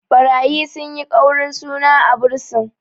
ɓarayi sun yi ƙaurin suna a bursin